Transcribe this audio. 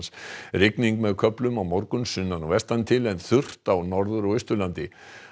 rigning með köflum á morgun sunnan og vestan til en þurrt á Norður og Austurlandi